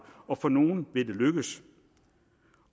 og for nogle vil det lykkes